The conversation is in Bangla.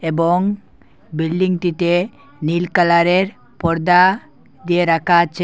এবং বিল্ডিংটিতে নীল কালারের পর্দা দিয়ে রাখা আছে।